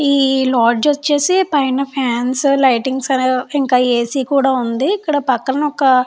ఈ లాడ్జి వచ్చేసి పైన ఫాన్స్ లైటింగ్స్ అనేవి ఇంకా ఎసి కూడా ఉంది ఇక్కడ పక్కన వక --